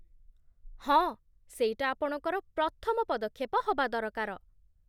ହଁ, ସେଇଟା ଆପଣଙ୍କର ପ୍ରଥମ ପଦକ୍ଷେପ ହବା ଦରକାର ।